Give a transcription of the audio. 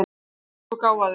Þú ert svo gáfaður!